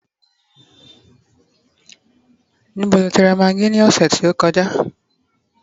níbo lo ti ra maggi ni ọsẹ ti o kọjá